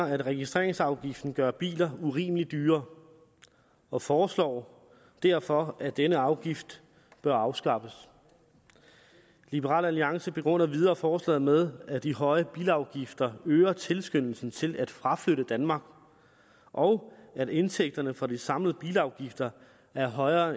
at registreringsafgiften gør biler urimeligt dyre og foreslår derfor at denne afgift bør afskaffes liberal alliance begrunder videre forslaget med at de høje bilafgifter øger tilskyndelsen til at fraflytte danmark og at indtægterne for de samlede bilafgifter er højere